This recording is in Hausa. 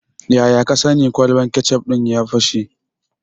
Yaya ka sani kwalban kecof ɗin ya fashe?